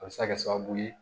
A bɛ se ka kɛ sababu ye